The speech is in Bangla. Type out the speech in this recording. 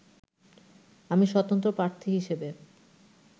আমি স্বতন্ত্র প্রার্থী হিসেবে